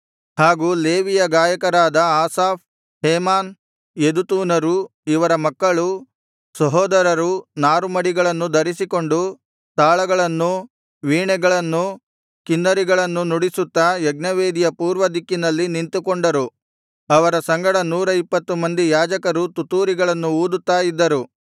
ಹಾಗೂ ಲೇವಿಯ ಗಾಯಕರಾದ ಆಸಾಫ್ ಹೇಮಾನ್ ಯೆದುತೂನರೂ ಇವರ ಮಕ್ಕಳೂ ಸಹೋದರರೂ ನಾರುಮಡಿಗಳನ್ನು ಧರಿಸಿಕೊಂಡು ತಾಳಗಳನ್ನೂ ವೀಣೆಗಳನ್ನೂ ಕಿನ್ನರಿಗಳನ್ನು ನುಡಿಸುತ್ತಾ ಯಜ್ಞವೇದಿಯ ಪೂರ್ವದಿಕ್ಕಿನಲ್ಲಿ ನಿಂತುಕೊಂಡರು ಅವರ ಸಂಗಡ ನೂರ ಇಪ್ಪತ್ತು ಮಂದಿ ಯಾಜಕರೂ ತುತ್ತೂರಿಗಳನ್ನು ಊದುತ್ತಾ ಇದ್ದರು